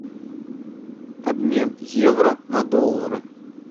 обмен евро на доллары